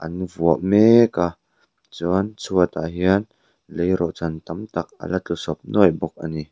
an vuah mek a chuan chhuatah hian lei rawh chan tam tak a la tlu sawp nuai bawk a ni.